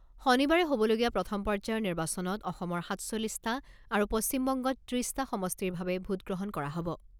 শনিবাৰে হ'বলগীয়া প্ৰথম পৰ্যায়ৰ নিৰ্বাচনত অসমৰ সাতচল্লিছটা আৰু পশ্চিমবংগত ত্ৰিছটা সমষ্টিৰ বাবে ভোটগ্ৰহণ কৰা হ'ব।